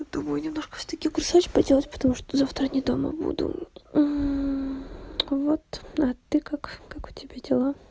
думаю немножко всё таки курсовую поделать потому что завтра не дома буду вот а ты как как у тебя дела